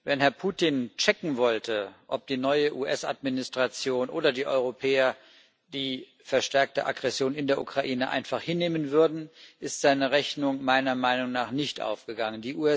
Wenn Herr Putin checken wollte, ob die neue US Administration oder die Europäer die verstärkte Aggression in der Ukraine einfach hinnehmen würden, ist seine Rechnung meiner Meinung nach nicht aufgegangen.